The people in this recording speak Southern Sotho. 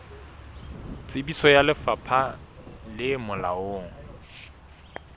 tsebiso ya lefapha le molaong